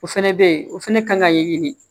O fɛnɛ be yen o fɛnɛ kan ka ɲɛɲini